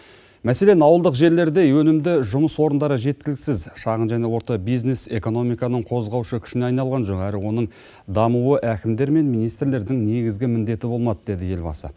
мәселен ауылдық жерлерде өнімді жұмыс орындары жеткіліксіз шағын және орта бизнес экономиканың қозғаушы күшіне айналған жоқ әрі оның дамуы әкімдер мен министрлердің негізгі міндеті болмады деді елбасы